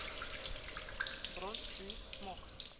бронь свит смок